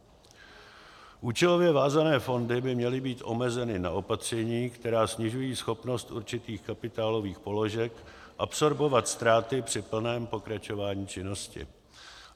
Účelově vázané fondy by měly být omezeny na opatření, která snižují schopnost určitých kapitálových položek absorbovat ztráty při plném pokračování činnosti.